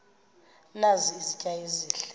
nazi izitya ezihle